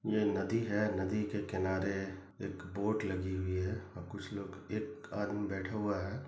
ये नदी है नदी के किनारे एक बोट लगी हुई है अ--कुछ लोग--एक आदमी बैठा हुआ है।